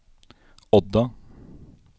Odda